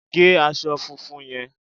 gé aṣọ funfun yẹn